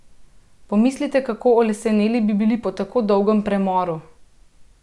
Pomislite, kako oleseneli bi bili po tako dolgem premoru!